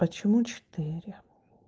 почему четыре